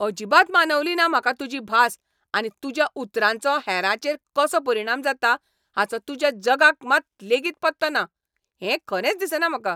अजिबात मानवलीना म्हाका तुजी भास आनी तुज्या उतरांचो हेरांचेर कसो परिणाम जाता हाचो तुज्या जगाक मात लेगीत पत्तो ना हें खरेंच दिसना म्हाका.